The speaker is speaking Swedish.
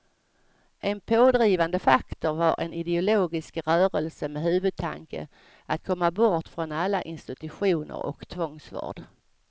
En pådrivande faktor var en ideologisk rörelse med huvudtanke att komma bort från alla institutioner och tvångsvård.